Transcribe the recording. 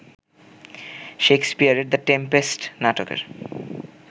শেক্সপিয়রের ‘the Tempest’ নাটকের